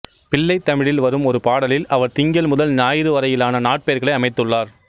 பிள்ளைத்தமிழில் வரும் ஒரு பாடலில் அவர் திங்கள் முதல் ஞாயிறு வரையிலான நாட்பெயர்களை அமைத்துள்ளார்